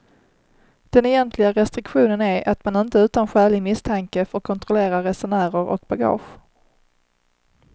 Den egentliga restriktionen är att man inte utan skälig misstanke får kontrollera resenärer och bagage.